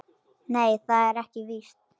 Nei, það er víst ekki.